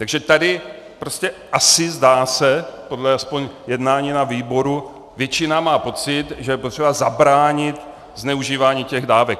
Takže tady prostě asi, zdá se, podle aspoň jednání na výboru, většina má pocit, že je potřeba zabránit zneužívání těch dávek.